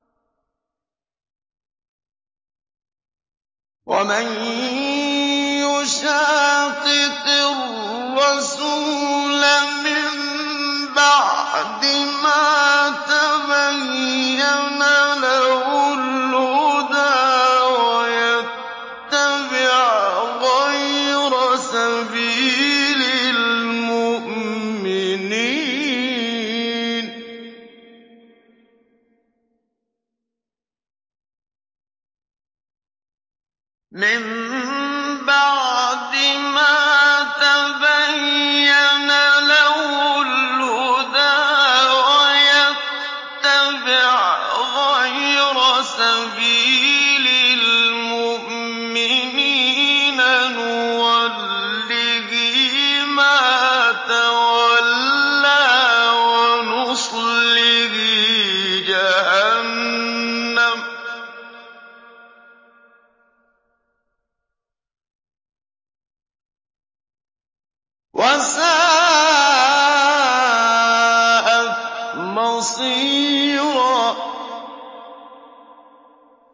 وَمَن يُشَاقِقِ الرَّسُولَ مِن بَعْدِ مَا تَبَيَّنَ لَهُ الْهُدَىٰ وَيَتَّبِعْ غَيْرَ سَبِيلِ الْمُؤْمِنِينَ نُوَلِّهِ مَا تَوَلَّىٰ وَنُصْلِهِ جَهَنَّمَ ۖ وَسَاءَتْ مَصِيرًا